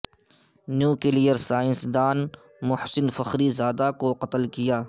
nuclear science دان Mohsen Fakhrizadeh کو قتل کیا